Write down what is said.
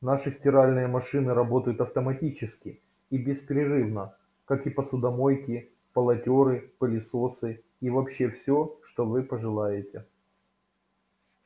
наши стиральные машины работают автоматически и беспрерывно как и посудомойки полотёры пылесосы и вообще все что вы пожелаете